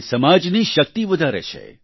તે સમાજની શક્તિ વધારે છે